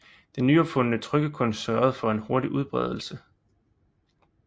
Den nyopfundne trykkekunst sørgede for en hurtig udbredelse